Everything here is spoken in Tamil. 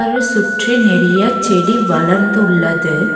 இத சுற்றி நெறிய செடி வளர்ந்துள்ளது.